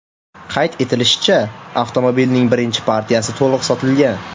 Qayd etilishicha, avtomobilning birinchi partiyasi to‘liq sotilgan.